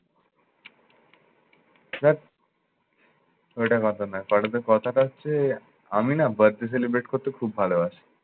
ধ্যাৎ! ওইটা কথা না। কথাটা হচ্ছে আমি না birth day celebrate করতে খুব ভালোবাসি।